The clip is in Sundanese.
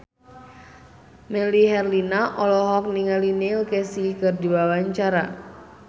Melly Herlina olohok ningali Neil Casey keur diwawancara